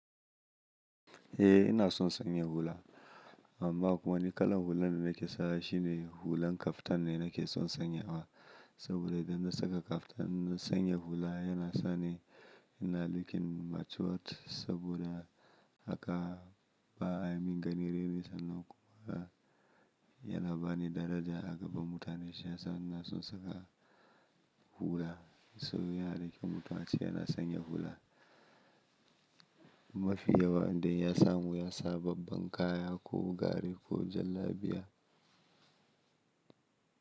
Eh ina son sanya hula amma kuma ni kalan hulan da nake sawa shine hulan kaftan ne nake son sanya wa saboda idan na saka kaftan na sanya hula yana sa ni ina looking matured saboda haka ba a yi min ganin raini sannan kuma yana bani daraja a gaban mutane shiyasa ina son saka hula saboda yana raki mutum a ce yana sanya hula. Mafi yawa in dai ya samu ya sa babban kaya ko gari ko jallabiya.